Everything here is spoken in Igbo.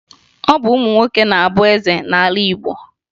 Ọ bụ ụmụ nwoke na-abụ eze n'ala Igbo